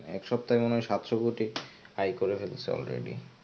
এক সপ্তাহে মনে হয় সাতশো কোটি আয় করে ফেলেছে already.